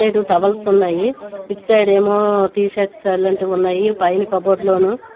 Towels ఉన్నాయి. ఆ side ఏమో టీ షర్ట్స్ అలాంటివి ఉన్నాయి పైన కబోర్డ్ లోను.